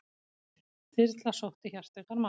Þyrla sótti hjartveikan mann